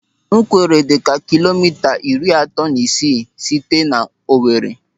Ńwkèrè dịka kilomita iri atọ na isii site na Owere.